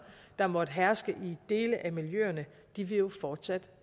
der måtte herske i dele af miljøerne vil jo fortsat